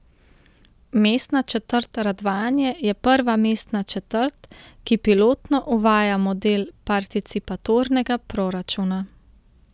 Mestna četrt Radvanje je prva mestna četrt, ki pilotno uvaja model participatornega proračuna.